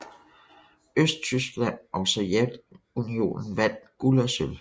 Østtyskland og Sovjetunionen vandt guld og sølv